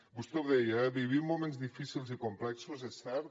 vostè ho deia eh vivim moments difícils i complexos és cert